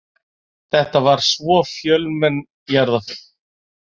Þetta var svo fjölmenn jarðarför.